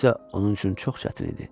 Bu isə onun üçün çox çətin idi.